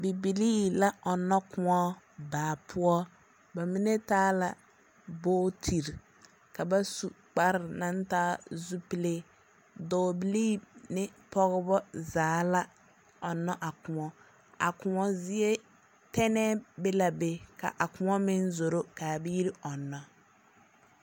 Bibilii la ɔnnɔkõɔ baa poɔ. Ba mine taa la bootiri, kaa basu kpare naŋ taa zupile. Dɔɔbilii ne pɔgeba zaa la ɔnnɔ a kõɔ. A kõɔ zie, tɛnɛɛ be la be. Ka a kõɔ meŋ zoro ka abiiri ɔnnɔ.